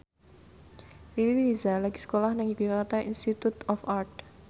Riri Reza lagi sekolah nang Yogyakarta Institute of Art